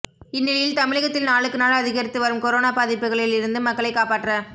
இந்நிலையில் தமிழகத்தில் நாளுக்கு நாள் அதிகரித்து வரும் கொரோனா பாதிப்புகளில் இருந்து மக்களை காப்பாற்ற